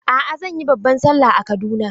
A'a, zan yi babban Sallah a Kaduna.